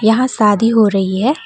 यहां शादी हो रही है।